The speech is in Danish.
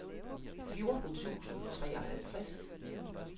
fjorten tusind og treoghalvtreds